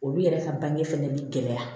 Olu yɛrɛ ka bange fɛnɛ bɛ gɛlɛya